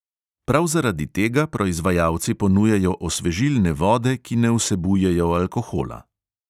Prav zaradi tega proizvajalci ponujajo osvežilne vode, ki ne vsebujejo alkohola.